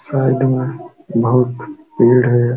Side में बोहोत पेड़ हैं।